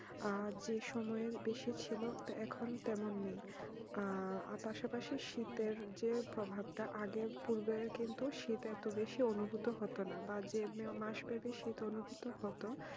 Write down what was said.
আহ যে সুময়ে বেশি ছিল এখন তেমন নেই আর পাশা পাশি শীতের যে প্রভাব তা আগে পূর্বে কিন্তু শীত এত বেশি অনুভূতি হতো না বা যে মাসে শীত অনুভূত হতো